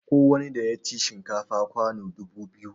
Kowani ɗa ya ci shinkafa kwano dubu biyu